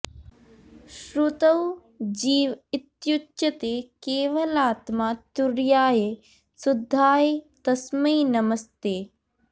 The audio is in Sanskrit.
श्रुतौ जीव इत्युच्यते केवलात्मा तुरीयाय शुद्धाय तस्मै नमस्ते